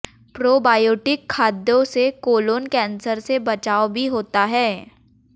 probiotic खाद्यों से colon cancer से बचाव भी होता है